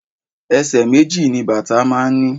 Ẹsẹ̀ méjì ni bàtà máa ń ní.